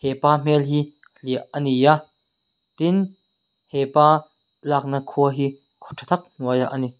hepa hmel hi hliah ani a tin hepa lak na khua hi khaw tha tak hnuaiah ani.